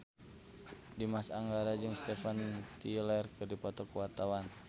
Dimas Anggara jeung Steven Tyler keur dipoto ku wartawan